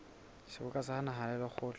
seboka sa naha le lekgotla